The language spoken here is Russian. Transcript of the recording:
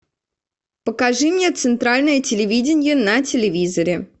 покажи мне центральное телевидение на телевизоре